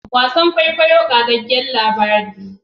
Wasan kwaikwayon kwaikwayo qagyagyan labari ne